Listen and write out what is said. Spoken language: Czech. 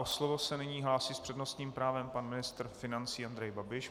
O slovo se nyní hlásí s přednostním právem pan ministr financí Andrej Babiš.